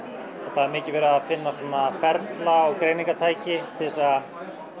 það er mikið verið að finna ferla og greiningartæki til þess að